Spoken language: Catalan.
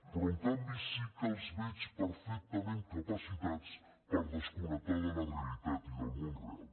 però en canvi sí que els veig perfectament capacitats per desconnectar de la realitat i del món real